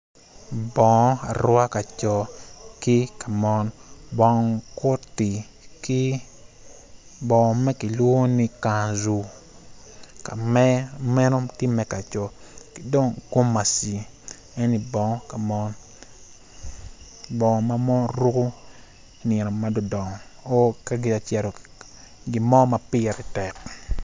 Bongo aruka pa co bongo koti ki bongo ma kilwongo ni kanzu ma meno tye meg pa co ki dong kamaci eni bongo pa mon bongo ma mon ruko i nino madongo dongo nyo ka gitye ka cito i gin mo ma pire tek.